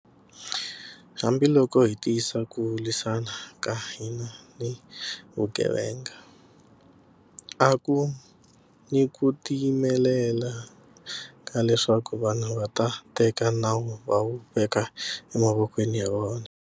Hambiloko hi tiyisa ku lwisana ka hina ni vugevenga, a ku ni ku tiyimelela ka leswaku vanhu va teka nawu va wu veka emavokweni ya vona.